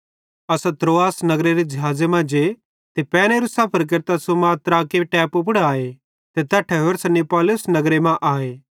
असां त्रोआस नगरेरां ज़िहाज़े मां जे ते पैनेरू सफर केरतां सुमात्राके टैपू पुड़ आए ते तैट्ठां होरसां नियापुलिस नगरे मां आए